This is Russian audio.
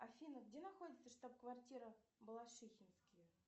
афина где находится штаб квартира балашихинские